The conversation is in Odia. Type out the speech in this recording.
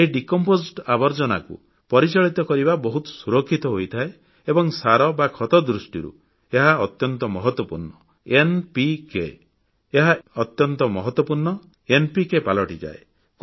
ଏହି ବିଘଟିତ ଆବର୍ଜ୍ଜନାକୁ ପରିଚାଳିତ କରିବା ବହୁତ ସୁରକ୍ଷିତ ହୋଇଥାଏ ଏବଂ ସାର ବା ଖତ ଦୃଷ୍ଟିରୁ ଏହା ଅତ୍ୟନ୍ତ ମହତ୍ୱପୂର୍ଣ୍ଣ ଏନପିକେ ସାର ପାଲଟିଯାଏ